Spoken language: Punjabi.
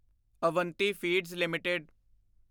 Avanti feeds LTD